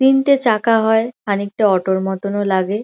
তিনটে চাকা হয় খানিকটা অটো -র মতোন ও লাগে।